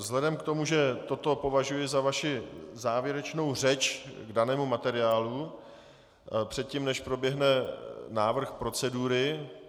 Vzhledem k tomu, že toto považuji za vaši závěrečnou řeč k danému materiálu předtím, než proběhne návrh procedury...